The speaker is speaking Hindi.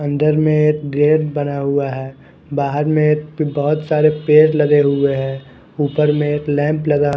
अंदर में एक गेट बना हुआ है बाहर में एक बहोत सारे पेड़ लगे हुए हैं ऊपर में एक लैंप लगा--